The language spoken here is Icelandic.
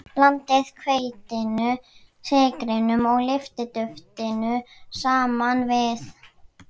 Blandið hveitinu, sykrinum og lyftiduftinu saman við.